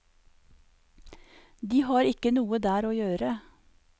De har ikke noe der å gjøre.